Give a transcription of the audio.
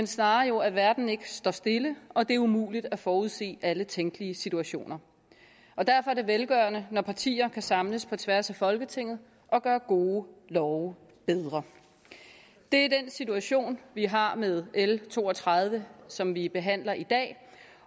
snarere at verden ikke står stille og at det er umuligt at forudsige alle tænkelige situationer derfor er det velgørende når partier kan samles på tværs af folketinget og gøre gode love bedre det er den situation vi har med l to og tredive som vi behandler i dag